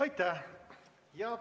Aitäh!